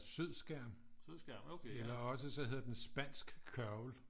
Sødskærm eller også så hedder den Spansk kørvel